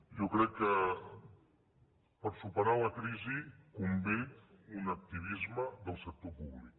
jo crec que per superar la crisi convé un activisme del sector públic